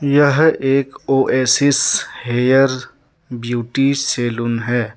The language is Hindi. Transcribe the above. यह एक ओएसिस हेयर ब्यूटी सैलून है।